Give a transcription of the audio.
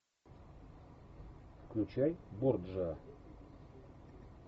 включай борджиа